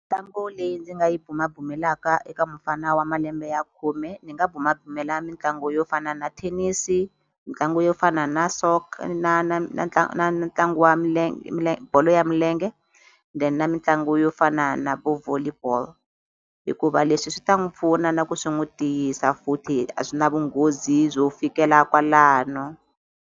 Mitlangu leyi ndzi nga yi bumabumelaka eka mufana wa malembe ya khume, ndzi nga bumabumela mitlangu yo fana na thenisi, mitlangu yo fana na na na na na na ntlangu wa ya bolo ya milenge, then na mitlangu yo fana na vo volley ball. Hikuva leswi swi ta n'wi pfuna na ku swi n'wi tiyisa futhi a swi na vunghozi byo fikela kwalano.